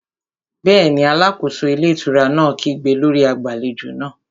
Bẹ́ẹ̀ni, alákóso ilé ìtura náà kígbe lórí agbàlejò náà